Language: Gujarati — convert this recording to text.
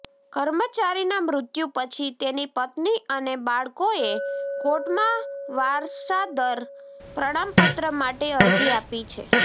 કર્મચારીના મૃત્યુ પછી તેની પત્ની અને બાળકોએ કોર્ટમાં વારસદાર પ્રમાણપત્ર માટે અરજી આપી છે